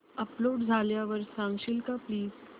upload झाल्यावर सांगशील का प्लीज